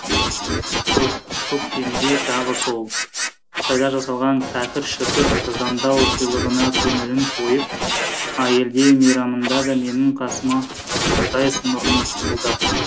көктемде тағы сол қытайда жасалған кәкір шүкір арзандау сыйлығына көңілің тойып әйелдер мейрамында да менің қасыма ұйықтайсың мұрның пысылдап